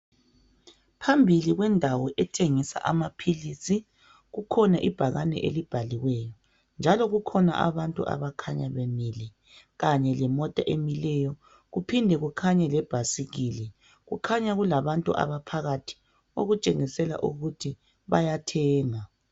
phambili kwendawo ethengisa amaphilisi kukhona ibhakane elibhaliweyo njalo kukhona abantu abakhanya bemile kane lemota emileyo kuphinde kukhanye lebhasikili kukhanya kulabantu abaphakathi okutshengisela ukuthi bayathenga